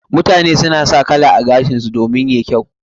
Mutane suna sa kala a gashinsu domin yayi kyau.